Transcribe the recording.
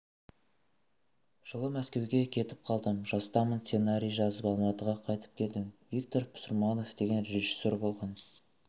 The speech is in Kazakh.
жылы мәскеуге кетіп қалдым жастамын сценарий жазып алматыға қайтып келдім виктор пұсырманов деген режиссер болған